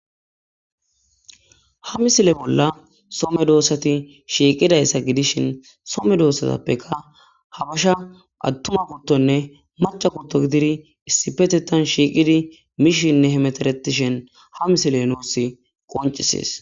ha misile bolla soo medoossati shiiqidayssa gidishin some doossatappeka habasha attuma guttonne maca gutto gididi issi petetan shiiqidi mishinne hemeteretishen ha misile nuus qoncisees